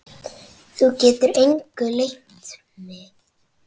Þú getur engu leynt mig.